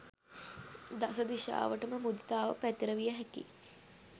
දස දිශාවටම මුදිතාව පැතිරවිය හැකියි.